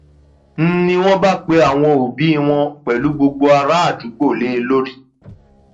n ní wọn bá pe àwọn òbí wọn pẹlú gbogbo àràádúgbò lé e lórí